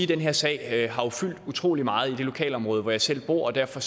den her sag har fyldt utrolig meget i det lokalområde hvor jeg selv bor og derfor